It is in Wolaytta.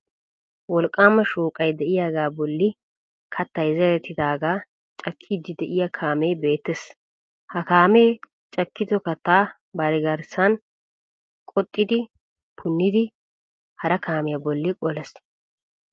Wolqqaama shooqay de'iyagaa bolli kattay zerettidaagaa cakiiddi de'iya kaamee beettees. Ha kaamee cakkido kattaa bari garssan qoxxidi punnidi hara kaamiya bolli qolees.